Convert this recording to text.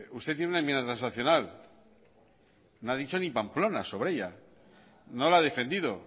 usted tiene una enmienda transaccional no ha dicho ni pamplona sobre ella no la ha defendido